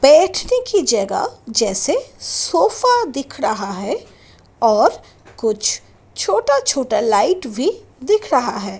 बैठने की जगह जैसे सोफा दिख रहा है और कुछ छोटा-छोटा लाइट भी दिख रहा है।